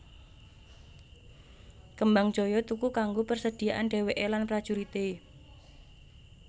Kembangjoyo tuku kanggo persediaan dhèwèké lan prajurité